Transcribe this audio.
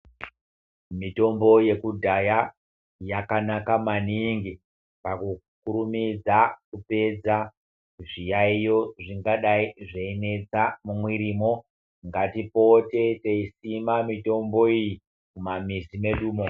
Mitombo yakudhaya yakanaka maningi pakukurumidza kupedza zviyaiyo zvingadai zveinetsa mumwirimwo. Ngatipote teisima mitombo iyi muma mizi medumo.